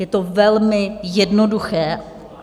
Je to velmi jednoduché.